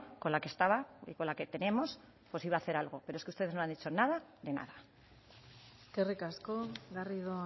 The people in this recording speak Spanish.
con la que estaba y con la que tenemos iba a hacer algo pero es que ustedes no han hecho nada de nada eskerrik asko garrido